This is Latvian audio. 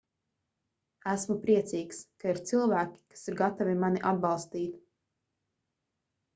esmu priecīgs ka ir cilvēki kas ir gatavi mani atbalstīt